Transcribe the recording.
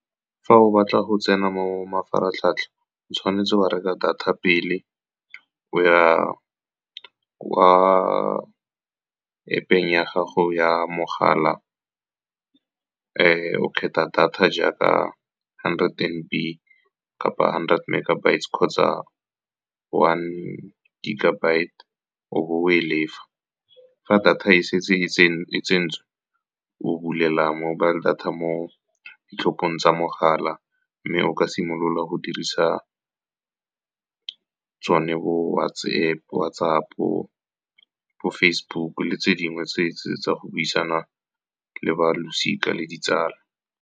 Fa o batla go tsena mo mafaratlhatlha, o tshwanetse wa reka data pele. O ya kwa App-eng ya gago ya mogala, o kgetha data jaaka hundred M_B kapa hundred megabytes kgotsa one gigabyte, o bo o e lefa. Fa data e setse e tsentswe, o bulela mobile data mo ditlhophong tsa mogala, mme o ka simolola go dirisa tsone bo WhatsApp, bo Facebook le tse dingwe tsa go buisana le balosika le ditsala.